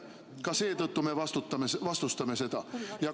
Ka seetõttu me vastustame seda.